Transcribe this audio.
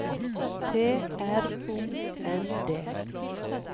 T R O N D